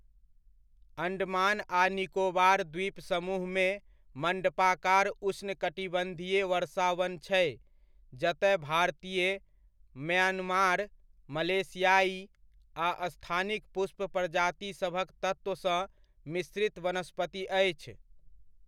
अण्डमान आ निकोबार द्वीप समूहमे मण्डपाकार उष्णकटिबन्धीय वर्षावन छै जतय भारतीय, म्यान्मार, मलेशियाइ आ स्थानिक पुष्प प्रजातिसभक तत्वसँ मिश्रित वनस्पति अछि।